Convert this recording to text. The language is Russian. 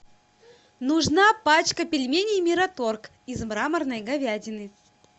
нужна пачка пельменей мираторг из мраморной говядины